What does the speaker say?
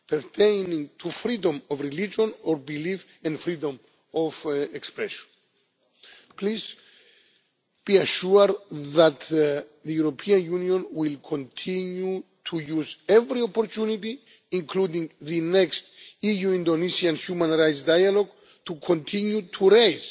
issues pertaining to Freedom of Religion or Belief and Freedom of Expression. Please be assured that the European Union will continue to use every opportunity, including the next EU Indonesia human rights dialogue, to continue to